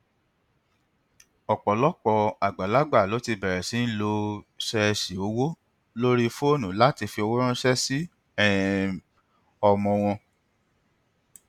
ọpọlọpọ àgbàlagbà ló ti bẹrẹ sí í lò sẹẹsì owó lórí fónù láti fi owó ranṣẹ sí um ọmọ wọn